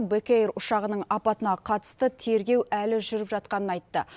бек эйр ұшағының апатына қатысты тергеу әлі жүріп жатқанын айтты